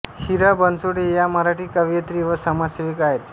हिरा बनसोडे या मराठी कवयित्री व समाजसेविका आहेत